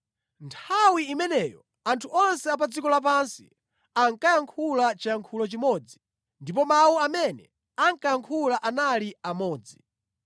Nthawi imeneyo anthu onse a pa dziko lapansi ankayankhula chiyankhulo chimodzi ndipo mawu amene ankayankhula anali amodzi.